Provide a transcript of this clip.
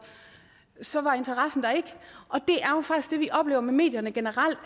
så var interessen der ikke og med medierne generelt